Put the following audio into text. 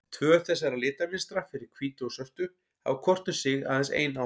Tvö þessara litamynstra, fyrir hvítu og svörtu, hafa hvort um sig aðeins ein áhrif.